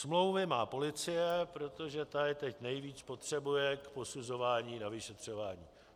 Smlouvy má policie, protože ta je teď nejvíc potřebuje k posuzování na vyšetřování.